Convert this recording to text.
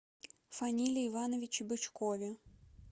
фаниле ивановиче бычкове